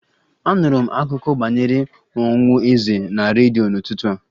Anụrụ m akụkọ banyere ọnwụ eze na redio n'ụtụtụ a